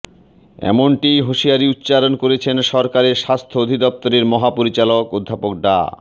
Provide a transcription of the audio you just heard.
এমনটিই হুঁশিয়ারি উচ্চারণ করেছেন সরকারের স্বাস্থ্য অধিদপ্তরের মহাপরিচালক অধ্যাপক ডা